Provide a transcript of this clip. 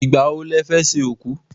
Ìgbà wo lẹ fẹ́ ṣòkú?